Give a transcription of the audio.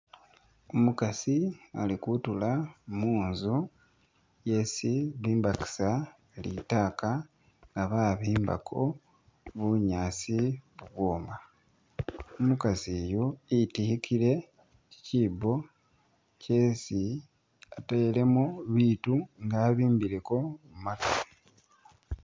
Umukasi ali kutula munzu yesi bimbakisa litaka nga babimbako bunyaasi bubwooma, umukasi oyu itikile kyikyibbo kyeesi atelemo biitu nga abimbileko maatu.